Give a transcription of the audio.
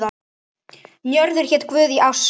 Njörður hét guð í ásatrú.